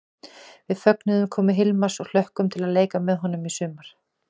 Við fögnum komu Hilmars og hlökkum til að leika með honum í sumar!